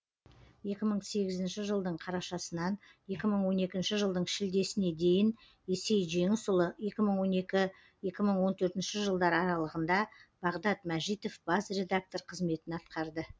екі мың сегізінші жылдың қарашасынан екі мың он екінші жылдың шілдесіне дейін есей жеңісұлы екі мың он екі екі мың он төртінші жылдар аралығында бағдат мәжитов бас редактор қызметін атқарды